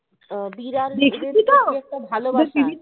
আহ বিড়াল